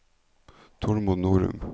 Tormod Norum